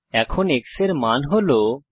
এখন x এর মান হল 2